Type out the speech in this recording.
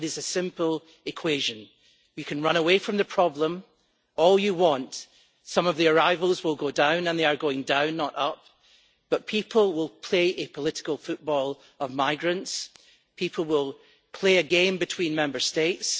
It is a simple equation. You can run away from the problem all you want some of the arrivals will go down and they are going down, not up and people will make a political football of migrants and people will play a game between Member States.